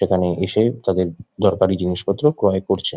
এখানে এসে তাদের দরকারি জিনিসপত্র ক্রয় করছে।